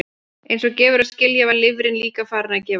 Eins og gefur að skilja var lifrin líka farin að gefa sig.